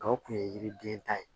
Gawo o kun ye yiriden ta ye